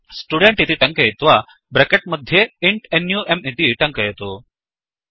student इति टङ्कयित्वा bracket मध्ये इन्ट् नुं इति टङ्कयतु